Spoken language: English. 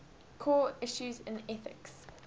core issues in ethics